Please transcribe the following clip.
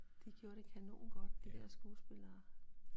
De gjorde det kanongodt de dér skuespillere